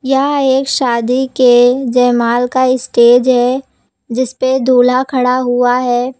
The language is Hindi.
यह एक शादी के जयमाला का स्टेज है जिसपे दूल्हा खड़ा हुआ है।